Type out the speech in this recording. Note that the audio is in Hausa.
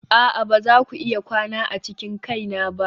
a'a ba za ku iya kwana a cikin kaina ba.